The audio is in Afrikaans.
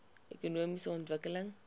ekonomiese ontwikkeling